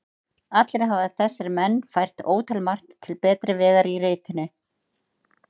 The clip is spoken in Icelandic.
Allir hafa þessir menn fært ótalmargt til betri vegar í ritinu.